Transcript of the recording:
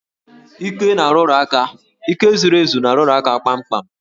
Íké na-arụrụ aka, íké zuru ezu na-arụrụ aka kpamkpam